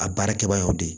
A baara kɛbaga y'o de ye